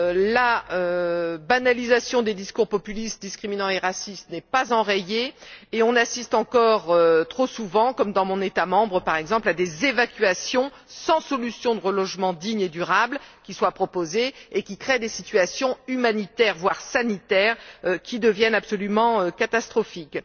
La banalisation des discours populistes, discriminatoires et racistes n'est pas enrayée et on assiste encore trop souvent, comme dans mon État membre par exemple, à des évacuations sans que des solutions de relogement dignes et durables ne soient proposées, ce qui crée des situations humanitaires, voire sanitaires, qui deviennent absolument catastrophiques.